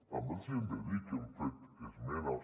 també els hem de dir que hem fet esmenes